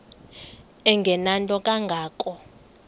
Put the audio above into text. engenanto kanga ko